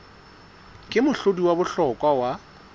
ke mohlodi wa bohlokwa wa